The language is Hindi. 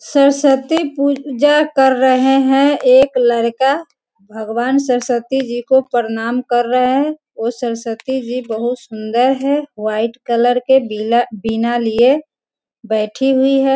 सरस्वती पूजा कर रहे हैं एक लड़का भगवान सरस्वती जी को प्रणाम कर रहे हैं उ सरस्वती जी बहुत सुंदर है व्हाइट कलर के वीणा लिए बैठी हुई हैं।